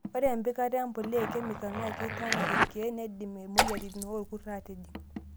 Ore empikata empuliya ekemikal naa keitana irkiek neidim imoyiaritin orkurt aatijing'.